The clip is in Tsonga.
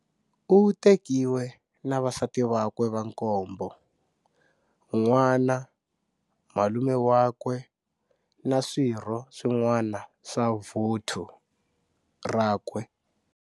U tekiwe na vasati vakwe va nkombo, n'wana, malume wakwe na swirho swin'wana swa vuthu rakwe.